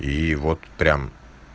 и вот прям